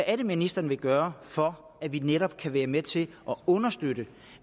er ministeren vil gøre for at vi netop kan være med til at understøtte